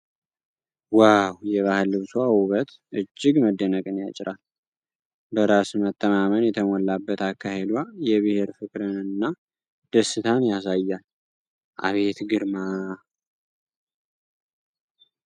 ዋው! የባህል ልብሷ ውበት እጅግ መደነቅን ያጭራል። በራስ መተማመን የተሞላበት አካሄዷ የብሔር ፍቅርን እና ደስታን ያሳያል። አቤት ግርማ !!